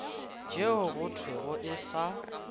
tšeo go thwego e sa